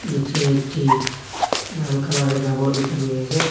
নীচে একটি লাল কালার -এর কাপড় বিছানো রয়েছে।